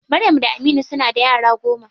Maryam da Aminu suna da yara goma.